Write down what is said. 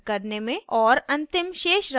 और अंतिम शेषराशि की गणना करने में